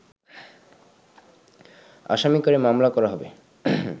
আসামি করে মামলা করা হবে